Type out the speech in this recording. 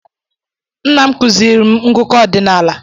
Nna m kuziiri m ngụkọ ọdinaala.